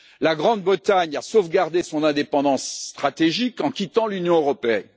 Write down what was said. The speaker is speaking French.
La Grande Bretagne a sauvegardé son indépendance stratégique en quittant l'Union européenne.